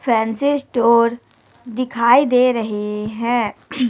Fancy store दिखाई दे रहें हैं।